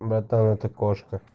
братан это кошка